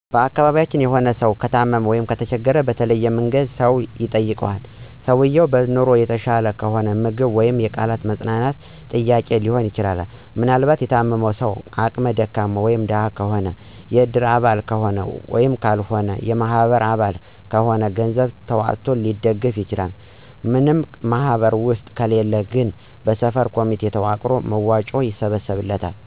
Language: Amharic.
በአካቢያችን የሆነ ስው ከታመመ/ከተቸገረ በተለያየ መንገድ ሰው ይጠይቀዋል። ሰውየው በኑሮ የተሻለ ከሆነ ምግብ ወይም የቃላት የማፅነናናት ጥያቄ ሊሆን ይችላል። ምናልባት የታመመው ሰው አቅመ ደካማ (ደሀ) ከሆነ የእድር አባል ከሆነ ካለው ወይም የበማህበር አባል ከሆነ ገንዘብ ተዋጥቶ ሊደገፍ ይችላል። ምንም ማህበር ውስጥ ከሌለ ግን በሰፈር ኮሚቴ ተዋቅሮ መዋጮ ይሰበሰባል።